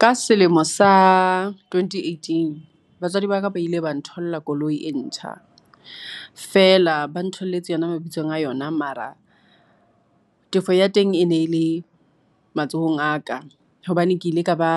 Ka selemo sa twenty-eighteen. Batswadi ba ka ba ile ba ntholla koloi e ntjha. Feela, ba ntholletse yona mabitsong a yona. Mara, tefo ya teng e ne le matsohong a ka. Hobane ke ile ka ba,